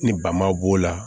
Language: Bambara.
Ni bama b'o la